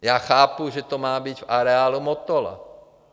Já chápu, že to má být v areálu Motola.